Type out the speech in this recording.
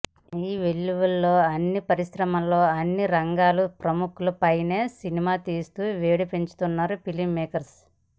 ఈ వెల్లువలో అన్ని పరిశ్రమలో అన్ని రంగాల ప్రముఖులపైనా సినిమాలు తీస్తూ వేడి పెంచుతున్నారు ఫిలింమేకర్స్